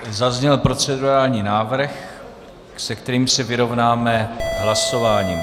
Zazněl procedurální návrh, se kterým se vyrovnáme hlasováním.